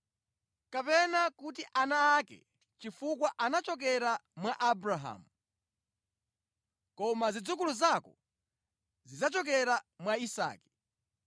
Kapena kuti ana ake chifukwa anachokera mwa Abrahamu. Koma zidzukulu zako zidzachokera mwa Isake.